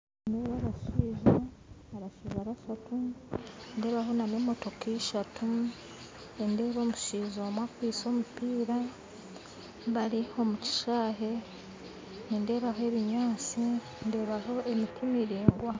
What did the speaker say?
Nindeeba abashaija bashatu nindeebaho n'emotooka eshatu nindeeba omushaija omwe akwistye omumpiira bari omu kishaayi nindeeba ebinyaatsi ndeebaho emiti miraingwa